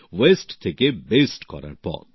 বর্জ্য থেকে ভালো কিছু করার পথ